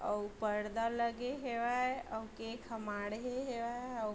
अउ पर्दा लगे हेवय अउ केक ह माढे हेवय अउ--